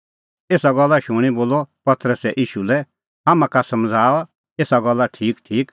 एसा गल्ला शूणीं बोलअ पतरसै ईशू लै हाम्हां का समझ़ाऊ एसा गल्ला ठीकठीक